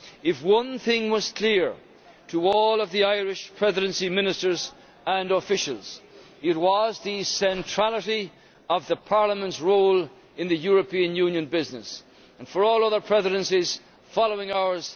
If one thing was clear to all of the Irish Presidency Ministers and officials it was the centrality of Parliament's role in the European Union business and for all other presidencies following ours